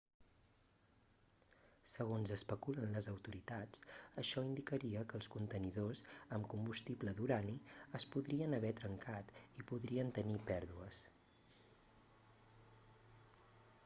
segons especulen les autoritats això indicaria que els contenidors amb combustible d'urani es podrien haver trencat i podrien tenir pèrdues